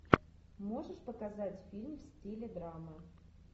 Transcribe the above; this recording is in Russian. можешь показать фильм в стиле драма